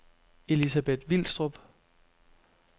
Elizabeth Vilstrup